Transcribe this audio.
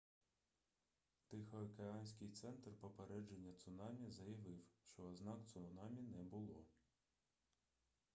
тихоокеанський центр попередження цунамі заявив що ознак цунамі не було